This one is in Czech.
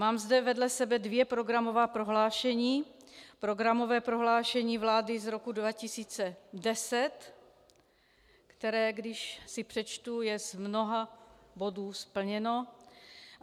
Mám zde vedle sebe dvě programová prohlášení: programové prohlášení vlády z roku 2010, které když si přečtu, je z mnoha bodů splněno.